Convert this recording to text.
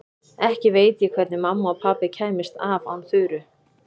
Ekki veit ég hvernig mamma og pabbi kæmust af án Þuru.